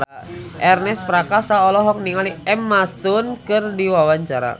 Ernest Prakasa olohok ningali Emma Stone keur diwawancara